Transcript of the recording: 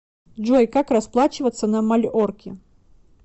джой как расплачиваться на мальорке